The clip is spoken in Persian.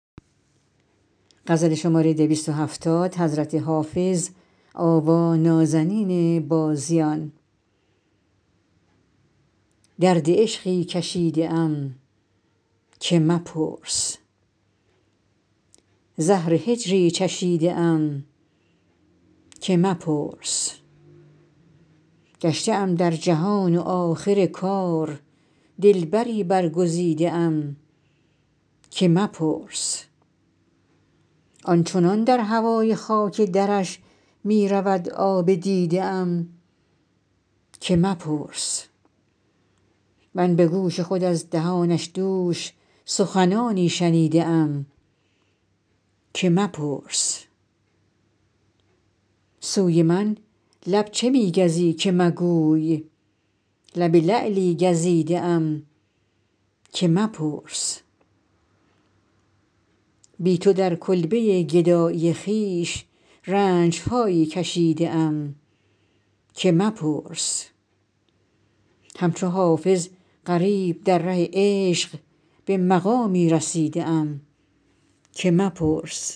درد عشقی کشیده ام که مپرس زهر هجری چشیده ام که مپرس گشته ام در جهان و آخر کار دلبری برگزیده ام که مپرس آن چنان در هوای خاک درش می رود آب دیده ام که مپرس من به گوش خود از دهانش دوش سخنانی شنیده ام که مپرس سوی من لب چه می گزی که مگوی لب لعلی گزیده ام که مپرس بی تو در کلبه گدایی خویش رنج هایی کشیده ام که مپرس همچو حافظ غریب در ره عشق به مقامی رسیده ام که مپرس